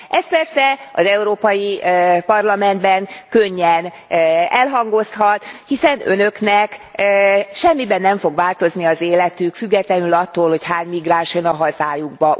Ez persze az Európai Parlamentben könnyen elhangozhat, hiszen Önöknek semmiben nem fog változni az életük függetlenül attól, hogy hány migráns jön a hazájukba.